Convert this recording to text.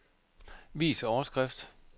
Vis overskrift.